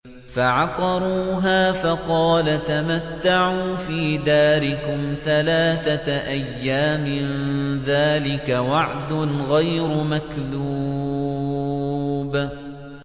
فَعَقَرُوهَا فَقَالَ تَمَتَّعُوا فِي دَارِكُمْ ثَلَاثَةَ أَيَّامٍ ۖ ذَٰلِكَ وَعْدٌ غَيْرُ مَكْذُوبٍ